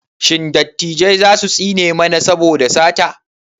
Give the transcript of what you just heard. Shin dattijai za su tsine mana saboda sata?